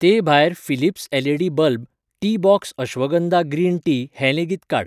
ते भायर, Philips LED. Bulb, Teabox ashwagandha green tea हें लेगीत काड.